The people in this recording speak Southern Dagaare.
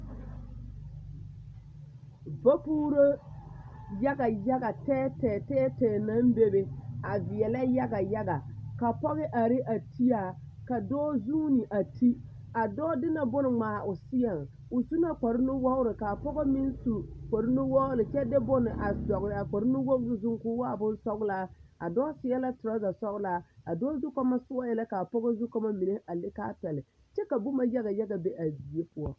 Vapuuro yaga yaga tɛɛtɛɛ tɛɛtɛɛ tɛɛtɛɛ naŋ bebe a veɛlɛ yaga yaga kabpɔge are a ti a ka dɔɔ zuune a ti a dɔɔ de la bone ngmaa o seɛŋ o su la kpare nuwogre kaa pɔge meŋ su kpare nuwogre kyɛ de bone a dɔgle a kpare nuwogre zuŋ koo waa bonsɔglaa a dɔɔ seɛ la trɔza sɔglaa a dɔɔ zu kɔɔmɔ sɔɔɛɛ la kaa pɔge meŋ zukɔɔmɔ mine a le kaa pɛle kyɛ ka boma mine yaga yaga be a die poɔ.